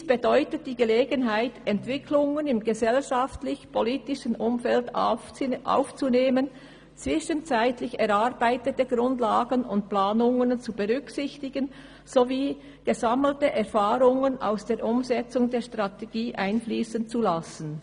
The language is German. Dies gibt die Gelegenheit, Entwicklungen im gesellschaftlichen und politischen Umfeld aufzunehmen, und zwischenzeitlich erarbeitete Grundlagen und Planungen zu berücksichtigen, sowie gesammelte Erfahrungen aus der Umsetzung der Strategie einfliessen zu lassen.